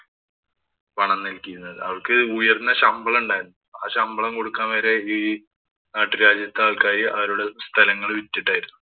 പണം നല്‍കിയിരുന്നത്. അവര്‍ക്ക് ഉയര്‍ന്ന ശമ്പളം ഉണ്ടായിരുന്നു. ആ ശമ്പളം കൊടുക്കാന്‍ വരെ ഈ നാട്ടുരാജ്യക്കാര്‍ക്കായി അവരുടെ സ്ഥലം വിറ്റിട്ടായിരുന്നു പണം നല്‍കിയിരുന്നത്.